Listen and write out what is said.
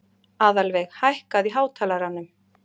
Aðalveig, hækkaðu í hátalaranum.